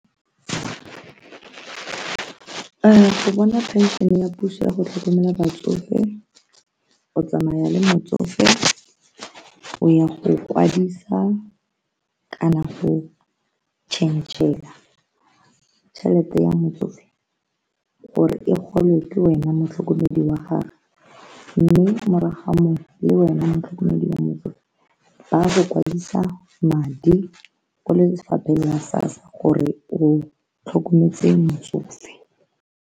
Go bona pension-e ya puso ya go tlhokomela batsofe, o tsamaya le motsofe o ya go kwadisa kana go changele tšhelete ya motsofe gore e gole ke wena motlhokomedi wa gagwe mme morago ga mo le wena motlhokomedi wa motsofe ba go kwadisa madi ko lefapheng la SASSA gore o tlhokometse motsofe.